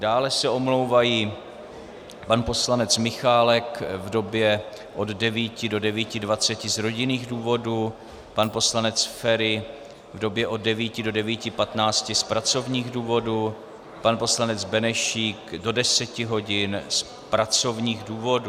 Dále se omlouvají pan poslanec Michálek v době od 9 do 9.20 z rodinných důvodů, pan poslanec Feri v době od 9 do 9.15 z pracovních důvodů, pan poslanec Benešík do 10 hodin z pracovních důvodů.